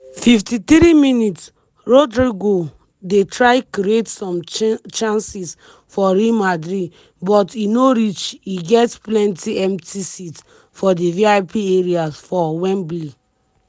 53mins- rodrygo dey try create some chances for real madrid but e no reach e get plenti empty seats for di vip areas for wembley.